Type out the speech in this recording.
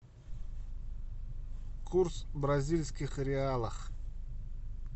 курс бразильских реалов